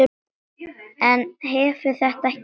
En hefur þetta ekki breyst?